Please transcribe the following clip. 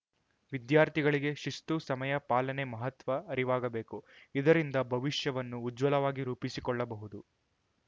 ವಿದ್ಯಾರ್ಥಿಗಳಿಗೆ ಶಿಸ್ತು ಸಮಯ ಪಾಲನೆ ಮಹತ್ವ ಅರಿವಾಗಬೇಕು ಇದರಿಂದ ಭವಿಷ್ಯವನ್ನು ಉಜ್ವಲವಾಗಿ ರೂಪಿಸಿಕೊಳ್ಳಬಹುದು